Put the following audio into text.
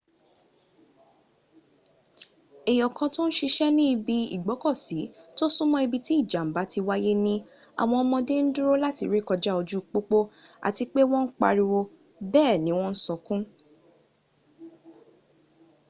èèyàn kan tò ń siṣẹ́ ní ibi ìgbọ́kọ̀sí tó súnmọ́ ibi tí ìjàm̀bá ti wáyé ní àwọn ọmọ́dé ń dúró láti ré kọjá ojú pópó àti pé wọ́n ń pariwo bẹ́ẹ̀sì ni wọ́n ń sọkún.